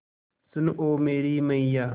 सुन ओ मेरी मैय्या